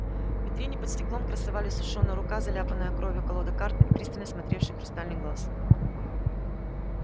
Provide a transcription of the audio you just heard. в витрине под стеклом красовались сушёная рука заляпанная кровью колода карт и пристально смотревший хрустальный глаз